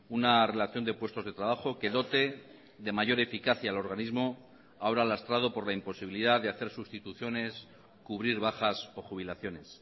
una relación de puestos de trabajo que dote de mayor eficacia el organismo ahora lastrado por la imposibilidad de hacer sustituciones cubrir bajas o jubilaciones